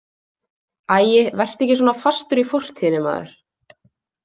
Æi, vertu ekki svona fastur í fortíðinni, maður.